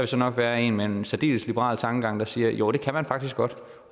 så nok være en med en særdeles liberal tankegang der siger jo det kan man faktisk godt